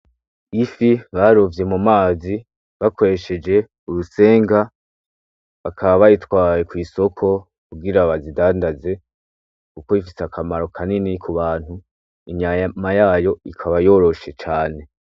Ifi barovye mu mazi bakoresheje urusenga, bakaba bayitwaye kw'isoko kugira bayindandaze kuko ifise akamaro kanini ku bantu, inyama yayo ikaba yoroshe.